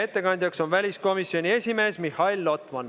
Ettekandja on väliskomisjoni esimees Mihhail Lotman.